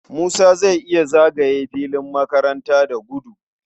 Musa zai iya zagaye filin makaranta da gudu.